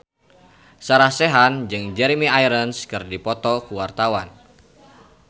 Sarah Sechan jeung Jeremy Irons keur dipoto ku wartawan